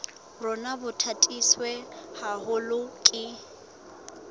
rona bo tataiswe haholo ke